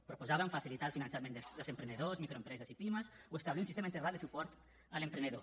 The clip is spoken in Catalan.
proposàvem facilitar el finançament dels emprenedors microempreses i pimes o establir un sistema integral de suport a l’emprenedor